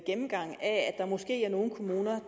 der måske er nogle kommuner